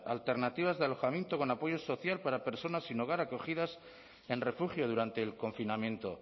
alternativas de alojamiento con apoyo social para personas sin hogar acogidas en refugio durante el confinamiento